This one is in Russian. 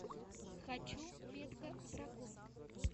хочу метка дракона